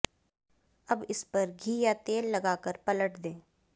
अब इस पर घी या तेल लगाकर पलट दें